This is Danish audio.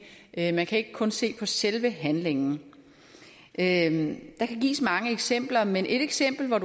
er man kan ikke kun se på selve handlingen handlingen der kan gives mange eksempler men et eksempel hvor